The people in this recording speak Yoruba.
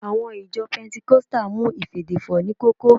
Àwọn ìjọ pẹntikọ́stà mú ìfèdèfọ̀ ní kókó